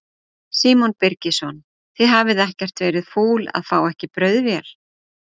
Símon Birgisson: Þið hafið ekkert verið fúl að fá ekki brauðvél?